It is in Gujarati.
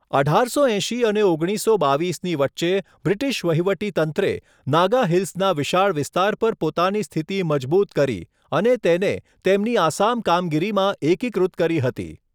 અઢારસો એંશી અને ઓગણીસસો બાવીસની વચ્ચે, બ્રિટિશ વહીવટીતંત્રે નાગા હિલ્સના વિશાળ વિસ્તાર પર પોતાની સ્થિતિ મજબૂત કરી અને તેને તેમની આસામ કામગીરીમાં એકીકૃત કરી હતી.